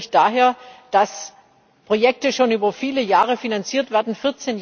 Er kommt natürlich daher, dass Projekte schon über viele Jahre finanziert werden.